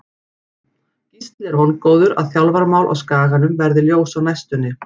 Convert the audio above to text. Gísli er vongóður að þjálfaramál á Skaganum verði ljós á næstunni.